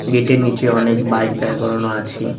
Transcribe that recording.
গেটের নিচে অনেক বাইক দাঁড় করানো আছে।